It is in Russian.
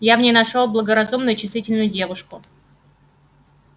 я в ней нашёл благоразумную и чувствительную девушку